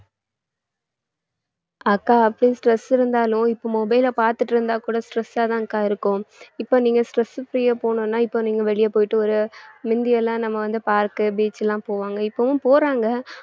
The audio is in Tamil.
அக்கா அப்படியே stress இருந்தாலும் இப்ப mobile ல பாத்துட்டு இருந்தா கூட stress ஆ தான் அக்கா இருக்கும் இப்ப நீங்க stress free ஆ போகணும்னா இப்ப நீங்க வெளிய போயிட்டு ஒரு மிந்தி எல்லாம் நம்ம வந்து park உ beach எல்லாம் போவாங்க இப்பவும் போறாங்க